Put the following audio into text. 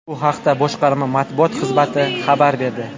Bu haqda boshqarma matbuot xizmati xabar berdi.